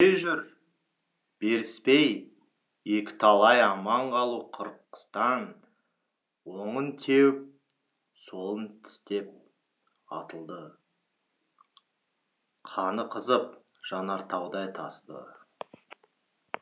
қайран күрең өліспей жүр беріспей екіталай аман қалу қырқыстан оңын теуіп солын тістеп атылды қаны қызып жанартаудай тасыды